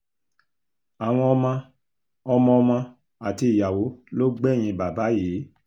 àwọn ọmọ ọmọọmọ àti ìyàwó ló gbẹ̀yìn bàbá yìí